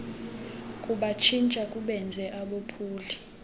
kubatshintsha kubenze abophuli